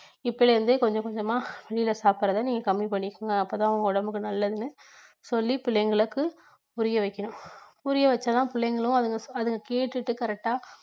இப்பையிலிருந்தே கொஞ்சம் கொஞ்சமா வெளியில சாப்பிடறதை நீங்க கம்மி பண்ணிக்குங்க அப்பத்தான் உங்க உடம்புக்கு நல்லதுன்னு சொல்லி பிள்ளைங்களுக்கு புரியவைக்கணும் புரியவெச்சாதான் பிள்ளைங்களும் அதுங்~ அதை கேட்டுட்டு correct ஆ